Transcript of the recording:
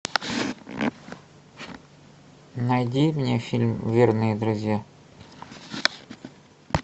найди мне фильм верные друзья